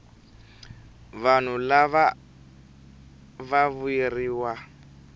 vanhu lava va vuyeriwa